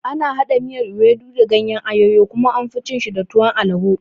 Ana haɗa miyar ewedu da gayen ayoyo kuma anfi cin shi da tuwon alabo